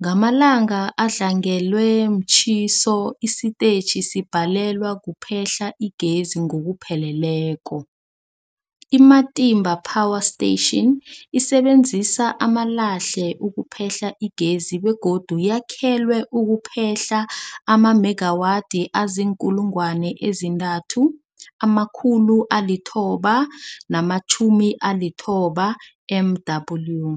Ngamalanga adlangelwe mtjhiso, isitetjhi sibhalelwa kuphehla igezi ngokupheleleko. I-Matimba Power Station isebenzisa amalahle ukuphehla igezi begodu yakhelwe ukuphehla amamegawathi azii-3990 MW.